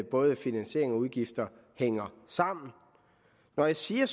både finansiering og udgifter hænger sammen når jeg siger